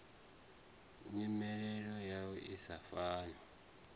nyimele yayo i sa fani